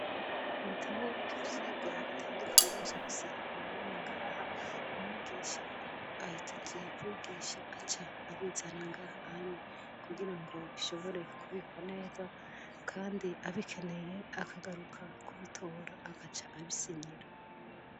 Ibitaboo ivyirwa bitandukanye vyose bibamene ingaha umwigisha iahejejeye kwigisha aca abizana ngaha anye kugira ngo bishobore kubikwa neza, kandi abikeneye akagaruka kubitora agaca abisinyira.